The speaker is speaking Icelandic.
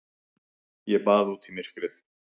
Ég bað út í myrkrið.